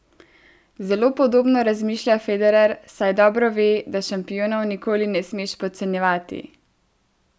Zelo podobno razmišlja Federer, saj dobro ve, da šampionov nikoli ne smeš podcenjevati.